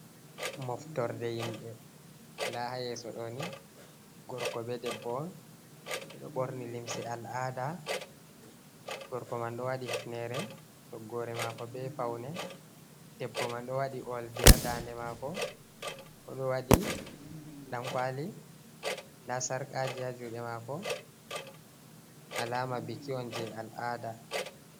Moftorde yimɓe nda ha yeso ɗo ni gorko be debbo on ɓeɗo ɓorni limse al'ada, nda gorko man ɗo wadi hifnere togore mako ɓe faune, debbo man ɗo waɗi oldi ha dande mako, oɗo wadi dankwali nda sarkaji ha juɗe mako alama biki on je al'ada.